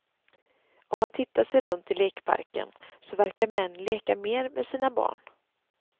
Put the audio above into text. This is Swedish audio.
Om man tittar sig runt i lekparken så verkar män leka mer med sina barn.